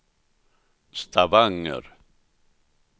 Stavanger